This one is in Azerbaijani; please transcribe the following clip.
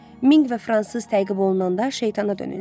Minq və fransız təqib olunanda şeytana dönürlər.